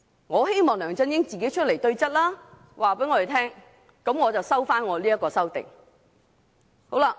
我希望梁振英自己出來對質，向我們交代，我便會撤回這項修正案。